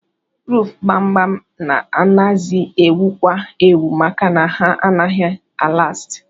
Ruufu gbam-gbam anazi ewukwa ewu maka na ha naghị a lasti.